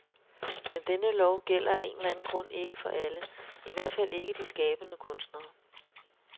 Men denne lov gælder af en eller anden grund ikke for alle, i hvert fald ikke de skabende kunstnere.